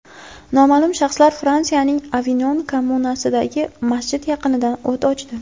Noma’lum shaxslar Fransiyaning Avinon kommunasidagi masjid yaqinida o‘t ochdi.